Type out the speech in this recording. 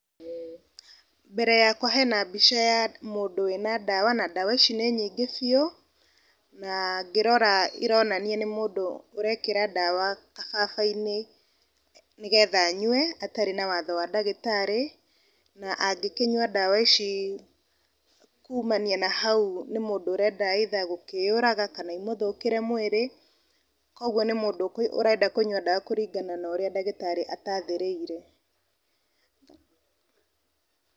Mbere yakwa hena mbica ya mũndũ wĩna ndawa , na ndawa ici nĩ nyingĩ biũ, na ngĩrora nĩ mũndũ ũrekĩra ndawa kababa-inĩ nĩgetha anyue atarĩ na watho wa ndagĩtarĩ , na angĩkinyua ndawa ici kumania na hau nĩ mũndũ ũrenda either gũkĩyũraga, kana ĩmũthũkĩre mwĩrĩ, kũgwo nĩ mũndũ ũrenda kũnyua ndawa kũringana na ũrĩa ndagĩtarĩ atathĩrĩire.